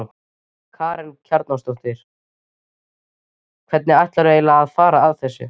Karen Kjartansdóttir: Hvernig ætlarðu eiginlega að fara að þessu?